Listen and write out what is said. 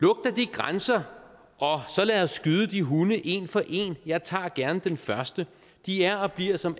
grænser og så lad os skyde de hunde en for en jeg tager gerne den første de er og bliver som